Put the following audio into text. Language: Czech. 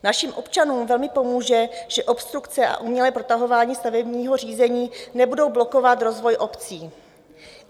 Našim občanům velmi pomůže, že obstrukce a umělé protahování stavebního řízení nebudou blokovat rozvoj obcí.